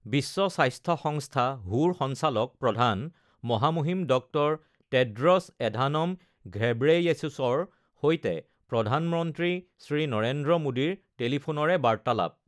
বিশ্ব স্বাস্থ্য সংস্থা হু ৰ সঞ্চালক প্ৰধান মহামহিম ড০ টেড্ৰছ এধানম ঘেব্ৰেয়েছুছৰ সৈতে প্ৰধানমন্ত্ৰী শ্ৰী নৰেন্দ্ৰ মোডীৰ টেলিফোনৰে বাৰ্তালাপ